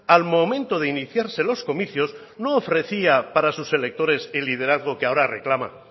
al momento de iniciarse los comicios no ofrecía para sus electores el liderazgo que ahora reclama